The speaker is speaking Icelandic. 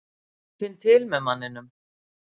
Ég finn til með manninum.